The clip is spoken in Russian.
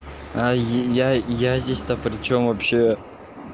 а я я здесь-то причём вообще